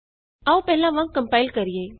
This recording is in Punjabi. ਆਉ ਪਹਿਲਾਂ ਵਾਂਗ ਕੰਪਾਇਲ ਕਰੀਏ